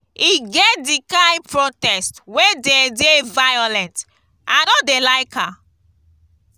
e get di kain protest wey dey dey violent i no dey like am.